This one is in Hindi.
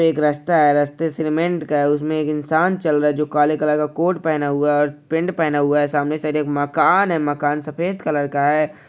एक रस्ता है रस्ता सीमेंट का है उसमे एक इंसान चल रहा है जो काले कलर का कोट पेहना हुआँ है और पेन्ट पेहना हुआँ है सामने से एक मकान है मकान सफ़ेद कलर का है।